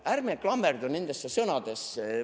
Ärme klammerdu nendesse sõnadesse.